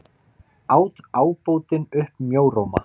át ábótinn upp mjóróma.